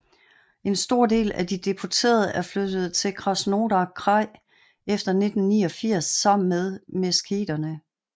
En stor del af de deporterede er flyttet til Krasnodar kraj efter 1989 sammen med Meskheterne